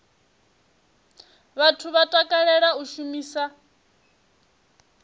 vhathu vha takalela u shumisa